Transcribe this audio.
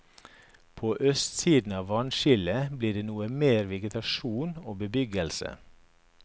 På østsiden av vannskillet blir det noe mer vegetasjon og bebyggelse.